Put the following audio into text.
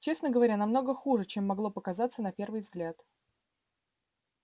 честно говоря намного хуже чем могло показаться на первый взгляд